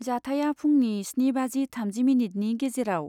जाथाया फुंनि स्नि बाजि थामजि मिनिटनि गेजेराव।